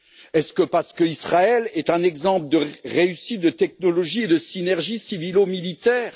Est ce parce qu'Israël est un exemple de réussite de technologies et de synergies civilo militaires?